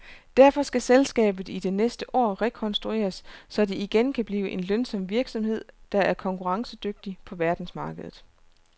Derfor skal selskabet i det næste år rekonstrueres, så det igen kan blive en lønsom virksomhed, der er konkurrencedygtig på verdensmarkedet.